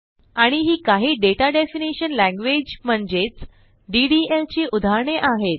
आणि ही काही दाता डेफिनिशन Languageम्हणजेच DDLची उदाहरणे आहेत